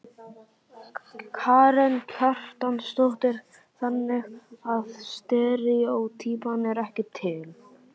Karen Kjartansdóttir: Þannig að steríótýpan er ekki til?